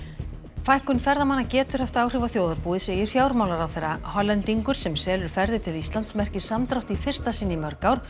fækkun ferðamanna getur haft áhrif á þjóðarbúið segir fjármálaráðherra Hollendingur sem selur ferðir til Íslands merkir samdrátt í fyrsta sinn í mörg ár